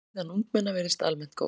Líðan ungmenna virðist almennt góð.